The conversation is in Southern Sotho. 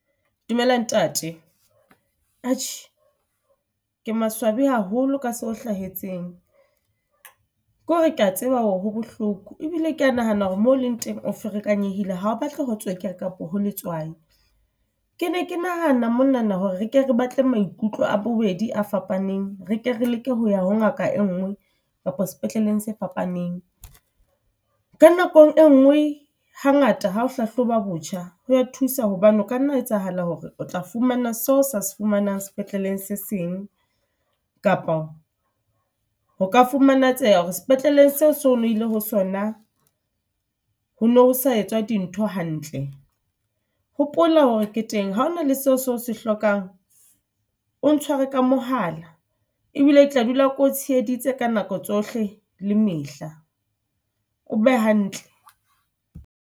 Dumela ntate, a tjhe ke maswabi haholo ka seo hlahetseng. Ke hore ke a tseba hore ha bohloko. Ebile ke a nahana hore mo leng teng o ferekanyi ebile ha o batla ho tswekere kapa ho letswai. Ke ne ke nahana monana hore re ke re batle maikutlo a bobedi a fapaneng, re ke re leke ho ya ho ngaka e nngwe kapa sepetleleng se fapaneng. Ka nakong e nngwe ha ngata ha o hlahloba botjha, ho ya thusa hobane o ka nna etsahala hore o tla fumana seo sa se fumanang sepetleleng se seng kapa ho ka fumanetseha hore sepetleleng seo so lokile ho sona ho no sa etswa dintho hantle. Hopola hore ke teng, ha hona le seo seo se hlokang o ntshware ka mohala. Ebile ke tla dula ko tsheheditse ka nako tsohle le mehla. O be hantle.